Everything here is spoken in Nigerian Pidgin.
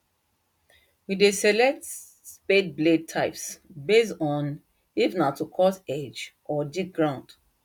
we dey select spade blade types based on if na to cut edge or dig ground